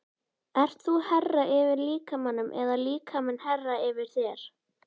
Ert þú herra yfir líkamanum eða líkaminn herra yfir þér?